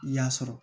I y'a sɔrɔ